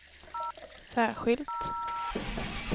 särskilt